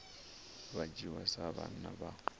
vha dzhiwa sa vhana vha